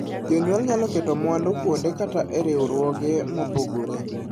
Jonyuol nyalo keto mwandu kuonde kata e riwruoge mopogore.